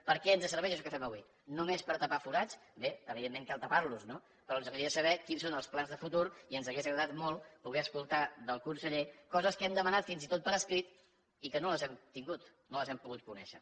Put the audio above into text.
per què ens serveix això que fem avui només per tapar forats bé evidentment cal tapar los no però ens agradaria saber quins són els plans de futur i ens hauria agradat molt poder escoltar del conseller coses que hem demanat fins i tot per escrit i que no les hem tingut no les hem pogut conèixer